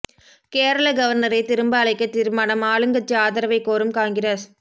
கேரள கவர்னரை திரும்ப அழைக்க தீர்மானம் ஆளுங்கட்சி ஆதரவை கோரும் காங்கிரஸ்